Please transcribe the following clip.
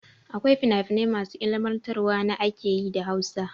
Akwai fina finai masu ilimantarwa na ake yi da Hausa.